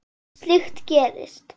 Slíkt gerist.